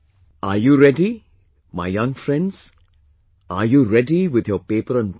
Are you ready, my young friends, are you readywith your paper and pen